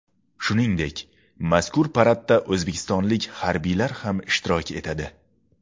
Shuningdek, mazkur paradda o‘zbekistonlik harbiylar ham ishtirok etadi .